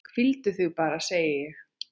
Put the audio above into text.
Hvíldu þig bara, segi ég.